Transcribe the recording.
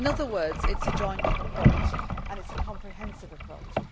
In other words, it is a joined up approach and it is a comprehensive approach.